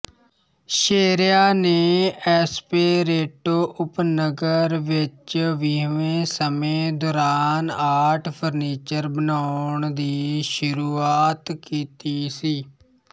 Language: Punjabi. ਸੇਰੇਆ ਨੇ ਐਸਪੇਰੇਟੋ ਉਪਨਗਰ ਵਿੱਚ ਵੀਹਵੇਂ ਸਮੇਂ ਦੌਰਾਨ ਆਰਟ ਫਰਨੀਚਰ ਬਣਾਉਣ ਦੀ ਸ਼ੁਰੂਆਤ ਕੀਤੀ ਸੀ